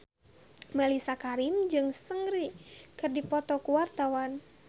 Mellisa Karim jeung Seungri keur dipoto ku wartawan